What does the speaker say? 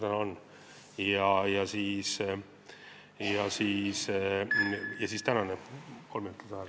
Kolm minutit juurde, palun!